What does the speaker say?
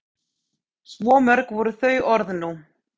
Svo mörg voru þau orð nú.